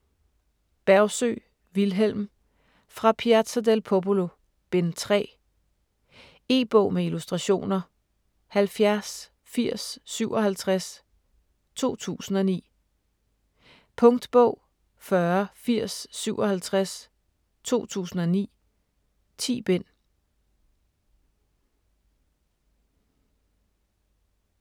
Bergsøe, Vilhelm: Fra Piazza del Popolo: Bind 3 E-bog med illustrationer 708057 2009. Punktbog 408057 2009. 10 bind.